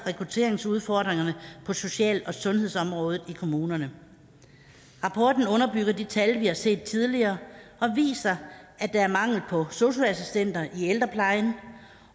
rekrutteringsudfordringerne på social og sundhedsområdet i kommunerne rapporten underbygger de tal vi har set tidligere og viser at der er mangel på sosu assistenter i ældreplejen